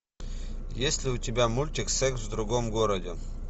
есть ли у тебя мультик секс в другом городе